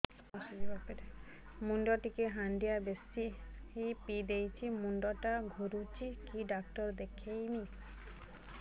ମୁଇ ଟିକେ ହାଣ୍ଡିଆ ବେଶି ପିଇ ଦେଇଛି ମୁଣ୍ଡ ଟା ଘୁରୁଚି କି ଡାକ୍ତର ଦେଖେଇମି